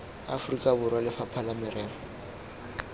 aforika borwa lefapha la merero